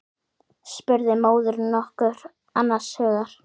spurði móðirin nokkuð annars hugar.